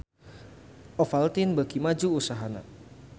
Ovaltine beuki maju usahana